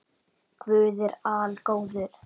Guð er algóður